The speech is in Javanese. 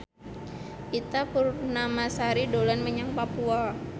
Ita Purnamasari dolan menyang Papua